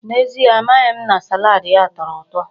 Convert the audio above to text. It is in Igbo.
N'ezie, amaghị m na salaadi ya tọrọ ụtọ.